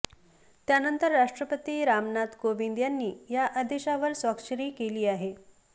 त्यानंतर राष्ट्रपती रामनाथ कोविंद यांनी या आदेशावर स्वाक्षरी केली आहे